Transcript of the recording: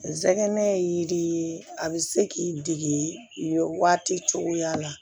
Zɛnɛ ye yiri ye a bɛ se k'i dege yen waati cogoya la